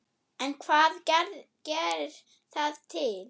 En hvað gerir það til